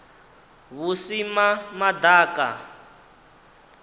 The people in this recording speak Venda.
vhusimamaḓaka